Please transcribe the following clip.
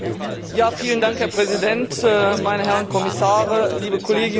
Herr Präsident, meine Herren Kommissare, liebe Kolleginnen und Kollegen!